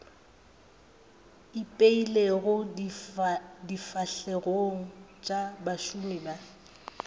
ipeilego difahlegong tša bašomi ba